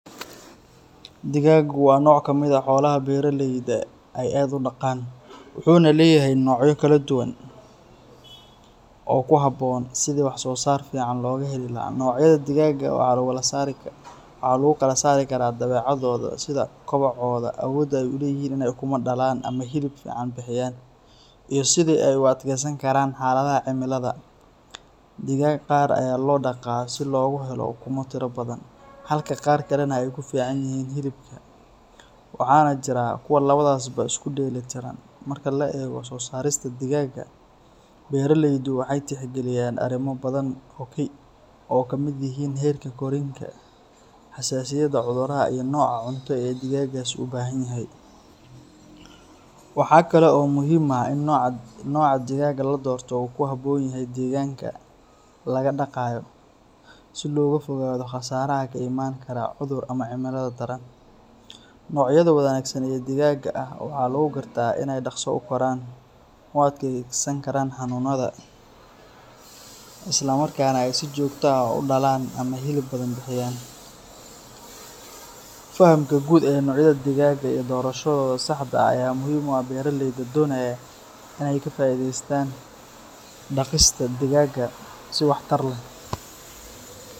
Digagu waa nooc ka mid ah xoolaha beeraleyda ay aad u dhaqaan, wuxuuna leeyahay noocyo kala duwan oo ku habboon sidii wax-soosaar fiican looga heli lahaa. Noocyada digaga waxa lagu kala saaraa dabeecadahooda, sida kobocooda, awoodda ay u leeyihiin inay ukumo dhalaan ama hilib fiican bixiyaan, iyo sida ay u adkaysan karaan xaaladaha cimilada. Digag qaar ayaa loo dhaqaa si loogu helo ukumo tiro badan, halka qaar kalena ay ku fiican yihiin hilibka, waxaana jira kuwo labadaasba isku dheelli tiran. Marka la eego soosaarista digaga, beeraleydu waxay tixgeliyaan arrimo badan oo ay ka mid yihiin heerka koriinka, xasaasiyadda cudurrada, iyo nooca cunto ee digagaasi u baahan yahay. Waxa kale oo muhiim ah in nooca digaga la doorto uu ku habboon yahay deegaanka laga dhaqayo, si looga fogaado khasaaraha ka iman kara cudur ama cimilada daran. Noocyada wanaagsan ee digaga ah waxaa lagu gartaa inay dhaqso u koraan, u adkaysan karaan xanuunada, isla markaana si joogto ah u dhalaan ama hilib badan bixiyaan. Fahamka guud ee noocyada digaga iyo doorashadooda saxda ah ayaa muhiim u ah beeraleyda doonaya in ay ka faa’iidaystaan dhaqista digaga si waxtar leh.